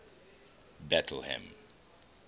betlehem